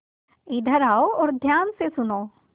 इधर आओ और ध्यान से सुनो